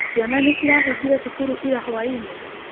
Ciana nĩcirahĩngĩre cukuru ira hwainĩ?